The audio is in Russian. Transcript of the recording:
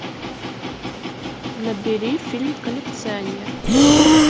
набери фильм коллекционер